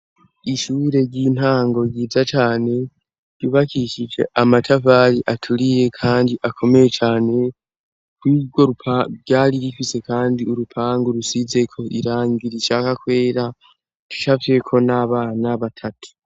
Ishure ry'intango ryiza cane ryubakishije amatavali aturiye, kandi akomeye cane kuigwo bwari gikise, kandi urupangu rusizeko irangira icaka kwera tisavyeko n'abana batatu.